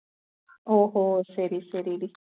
ஓஹோ சரி சரி டி